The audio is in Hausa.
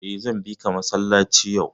Eh, zan bika masallaci yau.